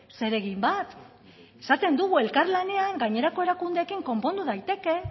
zeregin bat esaten dugu elkarlanean gainerako erakundeekin konpondu daiteke